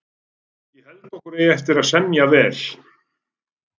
Ég held okkur eigi eftir að semja vel